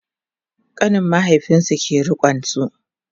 ƙanin mahaifinsu ke rikonsu